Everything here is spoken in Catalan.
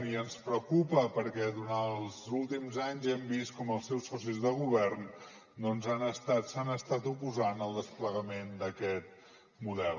i ens preocupa perquè durant els últims anys hem vist com els seus socis de govern s’han estat oposant al desplegament d’aquest model